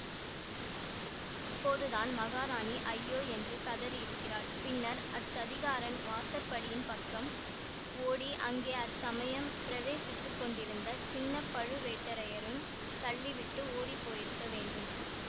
அப்போதுதான் மகாராணி ஐயோ என்று கதறியிருக்கிறாள் பின்னர் அச்சதிகாரன் வாசற்படியின் பக்கம் ஓடி அங்கே அச்சமயம் பிரவேசித்துக் கொண்டிருந்த சின்ன பழுவேட்டரையரையும் தள்ளி விட்டு ஓடிப்போயிருக்க வேண்டும்